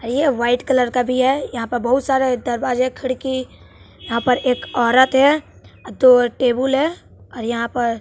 ये white colour का भी है यहां प बहुत सारा दरवाजा खिड़की यहां पर एक औरत है दो टेबुल है और यहां पर--